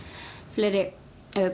fleiri